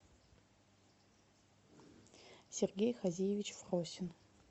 сергей хазиевич фросин